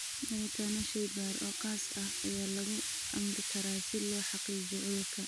Baaritaano shaybaar oo khaas ah ayaa lagu amri karaa si loo xaqiijiyo cudurka.